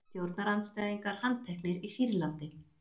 Stjórnarandstæðingar handteknir í Sýrlandi